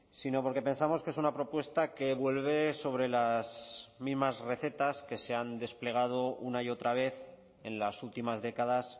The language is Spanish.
sino porque pensamos que es una propuesta que vuelve sobre las mismas recetas que se han desplegado una y otra vez en las últimas décadas